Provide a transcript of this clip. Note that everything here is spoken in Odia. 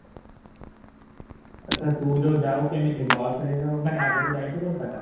ଆଚ୍ଛା ତୁ ଯୋଉ ଯାଉ କେମିତି ବସରେ ଯାଉ ମାନେ ଆଗରୁ ଯାଇଛୁ କୋଲକାତା ?